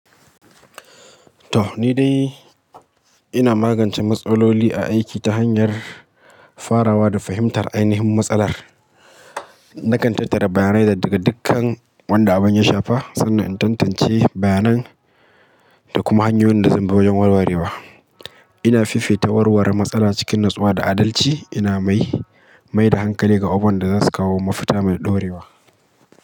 Toh, ni dai ina magance matsaloli a aiki ta hanyar farawa da fahimtar ainihin matsalar. Nakan tattara bayanai daga dukkan wanda abin ya shafa sannan in tantance bayanan da kuma hanyoyin da zan bi wajen warwarewa. Ina fifita warware matsala cikin natsuwa da adalci, ina mai, mai da hankali ga abokan da za su kawo mafita mai ɗorewa.